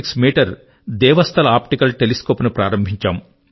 6 metre Devasthal optical telescope ను ప్రారంబించాము